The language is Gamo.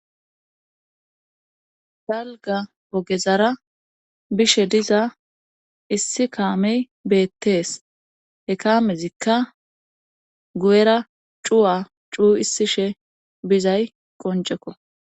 dalga bogezara bishe diza issi kaamey beettees he kaamezikka gu7era cuwa cuu issishe bizay qoncekko